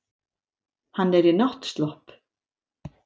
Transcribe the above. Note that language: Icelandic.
Hann er í náttslopp.